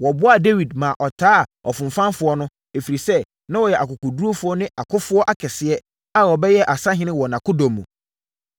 Wɔboaa Dawid maa ɔtaa afomfafoɔ no, ɛfiri sɛ, na wɔyɛ akokoɔdurufoɔ ne akofoɔ akɛseɛ a wɔbɛyɛɛ asahene wɔ nʼakodɔm mu.